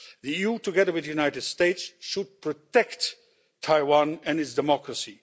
The EU, together with the United States, should protect Taiwan and its democracy.